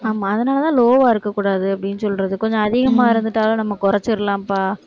ஆமா அதனாலதான் low ஆ இருக்கக் கூடாது, அப்படின்னு சொல்றது. கொஞ்சம் அதிகமா இருந்துட்டாலும் நம்ம குறைச்சரலாம்ப்பா.